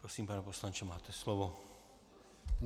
Prosím, pane poslanče, máte slovo.